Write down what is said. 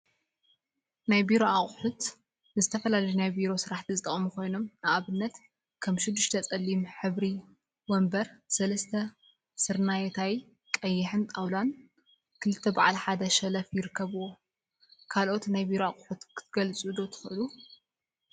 ናይ ቢሮ አቁሑ ናይ ቢሮ አቁሑ ንዝተፈላለዩ ናይ ቢሮ ስራሕቲ ዝጠቅሙ ኮይኖም፤ ንአብነት ከም ሽዱሽተ ፀሊም ሕብሪወንበር ፣ሰለስተ ስርናየታይን ቀይሕን ጣውላን ክልተ በዓል ሓደ ሸልፍን ይርከቡዎም፡፡ ካልኦት ናይ ቢሮ አቁሑ ክትገልፁ ዶ ትክእሉ?